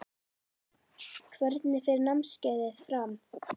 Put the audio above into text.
Hvernig fer námskeiðið fram?